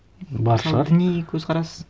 бар шығар мысалы діни көзқарас